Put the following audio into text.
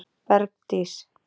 Bergdís